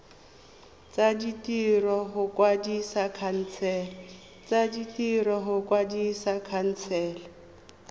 tsa ditiro go kwadisa khansele